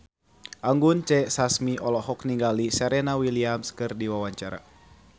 Anggun C. Sasmi olohok ningali Serena Williams keur diwawancara